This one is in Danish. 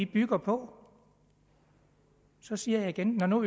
bygger på så siger jeg igen når nu